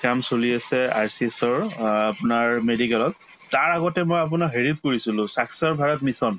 কাম চলি আছে RCS অ আপোনাৰ medical ত তাৰ আগতে মই আপোনাৰ হেৰিত কৰিছিলো sakshar bharat mission